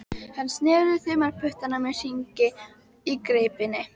Hann sneri þumalputtunum í hringi í greipinni.